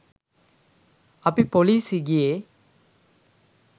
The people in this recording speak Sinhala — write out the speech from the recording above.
අපි පොලිසි ගියේ